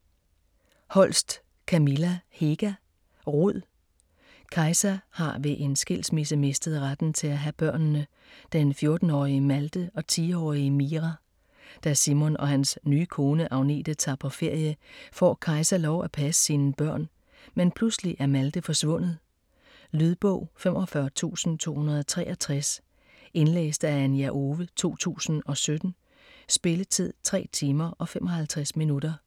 Holst, Kamilla Hega: Rud Kaisa har ved en skilsmisse mistet retten til at have børnene, den 14-årige Malte og 10-årige Mira. Da Simon og hans nye kone Agnete tager på ferie, får Kaisa lov at passe sine børn. Men pludselig er Malte forsvundet. Lydbog 45263 Indlæst af Anja Owe, 2017. Spilletid: 3 timer, 55 minutter.